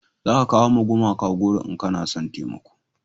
za ka kawo ma gumaka goro in kana son taimako